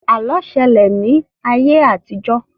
Àlọ́ ṣẹlẹ̀ ní ayé àtijọ́